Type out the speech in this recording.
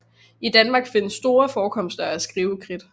I Danmark findes store forekomster af skrivekridt